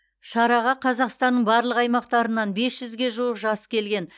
шараға қазақстанның барлық аймақтарынан бес жүзге жуық жас келген